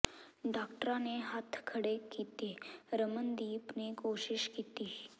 ਡਾਕਟਰਾਂ ਨੇ ਹੱਥ ਖੜੇ ਕੀਤੇ ਰਮਨਦੀਪ ਨੇ ਕੋਸ਼ਿਸ਼ ਕੀਤੀ